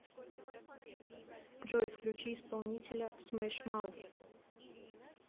джой включи исполнителя смэш маут